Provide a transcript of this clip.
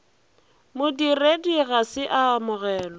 modiredi ga se a amogele